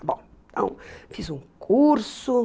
Está bom. Então, fiz um curso.